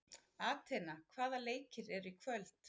Atena, hvaða leikir eru í kvöld?